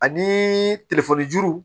Ani telefɔni juru